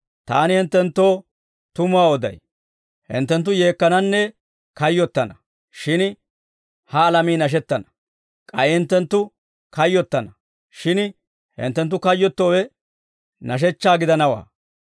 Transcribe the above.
Taani hinttenttoo tumuwaa oday. Hinttenttu yeekkananne kayyottana; shin ha alamii nashettana. K'ay hinttenttu kayyottana; shin hinttenttu kayyottowe nashechchaa gidanawaa.